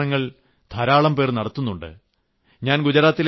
ഇങ്ങനെയുള്ള പരീക്ഷണങ്ങൾ ധാരാളംപേർ നടത്തുന്നുണ്ട്